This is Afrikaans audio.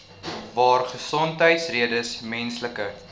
waar gesondheidsredes menslike